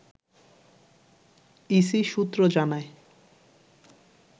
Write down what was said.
EC সূত্র জানায়